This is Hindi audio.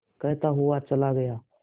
कहता हुआ चला गया